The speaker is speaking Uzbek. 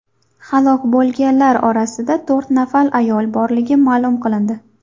Halok bo‘lganlar orasida to‘rt nafar ayol borligi ma’lum qilindi.